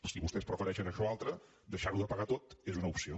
si vostès prefereixen això altre deixar de pagar ho tot és una opció